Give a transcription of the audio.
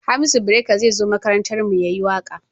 Hamisu breaker zai zo makarantar mu ya yi waƙa